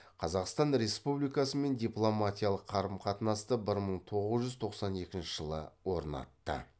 қазақстан республикасымен дипломатиялық қарым қатынасты бір мың тоғыз жүз тоқсан екінші жылы орнатты